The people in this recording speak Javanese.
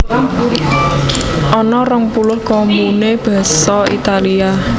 Ana rong puluh komune Basa Italia